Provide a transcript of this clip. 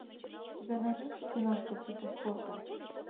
у тебя найдется киношка типа спорта